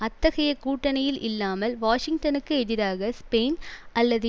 அத்தகைய கூட்டணியில் இல்லாமல் வாஷிங்டனுக்கு எதிராக ஸ்பெயின் அல்லது